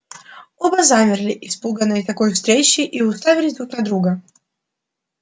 оба замерли испуганные такой встречей и уставились друг на друга